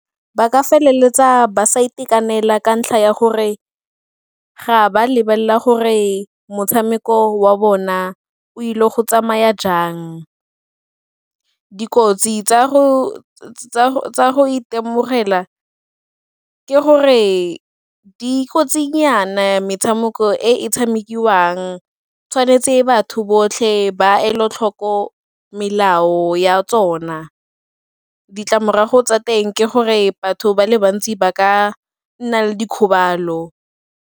Ba ka feleletsa ba sa itekanela ka ntlha ya gore ga ba lebelela gore motshameko wa bona o ile go tsamaya jang, dikotsi tsa go itemogela ke gore dikotsinyana metshameko e e tshamekiwang, tshwanetse batho botlhe ba elatlhoko melao ya tsona. Ditlamorago tsa teng ke gore batho ba le bantsi ba ka nna le dikgobalo.